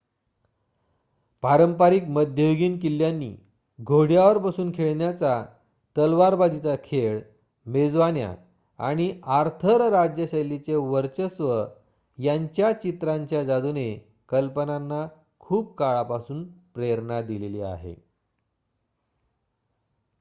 पारंपारिक मध्ययुगीन किल्ल्यांनी घोड्यावर बसून खेळण्याचा तलवारबाजीचा खेळ मेजवान्या आणि आर्थर राज्यशैलीचे वर्चस्व यांच्या चित्रांच्या जादूने कल्पनांना खूप काळापासून प्रेरणा दिलेली आहे